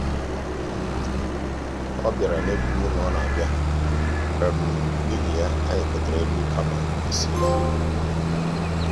ọ bịara n'ekwughị na ọ na-abịa n'ihi ya anyị gotere nri kama isi nri.